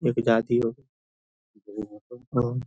एक हो --